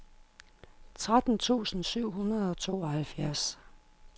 tretten tusind syv hundrede og tooghalvfjerds